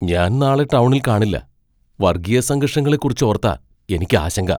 ഞാൻ നാളെ ടൗണിൽ കാണില്ല, വർഗീയ സംഘർഷങ്ങളെക്കുറിച്ച് ഓർത്താ എനിക്ക് ആശങ്ക.